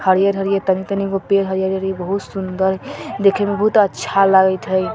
हरियर-हरियर तानी तानीगो पेड़ हई बहुत सुन्दर देख में बहुत अच्छा लगते हई ।